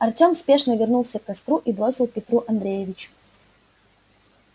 артём спешно вернулся к костру и бросил петру андреевич